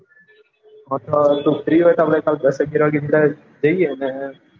તું free હોય તો દસ અગિયાર વાગે જઈએ ને